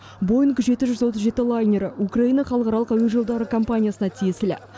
боинг жеті жүз отыз жеті лайнері украина халықаралық әуе жолдары компаниясына тиесілі